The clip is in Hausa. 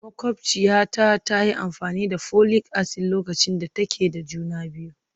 Makwabciyata ta yi amfani da folic acid lokacin da take da juna biyu